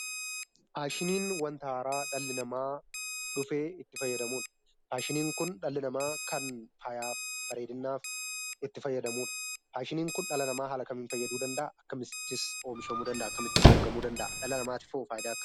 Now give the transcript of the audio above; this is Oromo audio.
Faashiniin wanta haaraa dhalli namaa dhufee itti fayyadamudha. Faashiniin kun dhalli namaa kan faayaf ,bareedinaaf itti fayyadamudha. Faashiniin kun dhala namaa haala kamiin fayyaduu danda'a? akkamittis oomishamuu danda'a? akkamittis argamuu danda'a? dhala namaatifoo faayidaa akkamii?